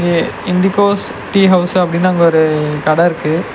IndiGo's tea house அப்படின்னு அங்க ஒரு கட இருக்கு.